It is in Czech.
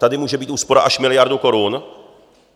Tady může být úspora až miliarda korun.